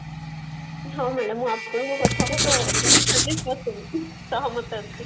ହଁ madam ମୁଁ ଆପଣଙ୍କ କଥାରେ ତ ସହମତ ଅଛି